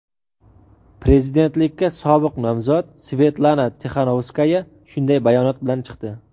prezidentlikka sobiq nomzod Svetlana Tixanovskaya shunday bayonot bilan chiqdi.